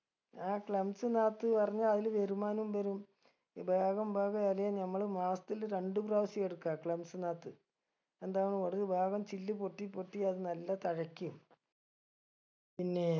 ആ clumps നാത്ത് പറഞ്ഞ അയില് വരുമാനും വരും ബേഗം ബേഗൊ ഇലയും നമ്മള് മാസത്തിൽ രണ്ട് പ്രാവശ്യം ഇറക്ക clumps നാത്ത് എന്താണ് ഒരു വേഗം ചില്ല് പൊട്ടിപ്പൊട്ടി അത് നല്ല തഴയ്ക്കും പിന്നെ